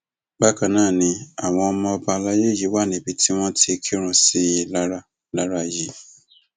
bákan náà ni àwọn ọmọ ọba alayé yìí wà níbi tí wọn ti kírun sí i lára lára yìí